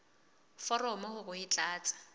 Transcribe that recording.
foromo hore o e tlatse